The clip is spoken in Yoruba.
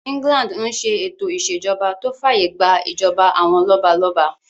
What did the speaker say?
England n ṣe ètò ìṣèjọba tó fàyè gbà ìjọba àwọn lọ́balọ́ba